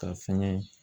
Ka fɛngɛ